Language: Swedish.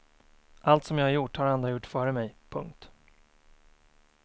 Allt som jag har gjort har andra gjort före mig. punkt